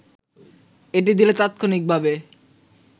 এটি দিলে তাৎক্ষণিকভাবে